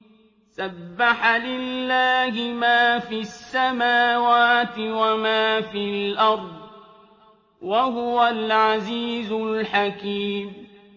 سَبَّحَ لِلَّهِ مَا فِي السَّمَاوَاتِ وَمَا فِي الْأَرْضِ ۖ وَهُوَ الْعَزِيزُ الْحَكِيمُ